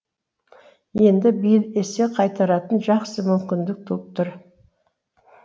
енді биыл есе қайтаратын жақсы мүмкіндік туып тұр